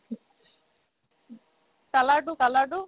colour তো colour তো